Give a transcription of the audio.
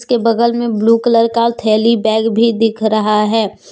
उश्के बगल में blue colour का थैली बैग भी दिख रहा है।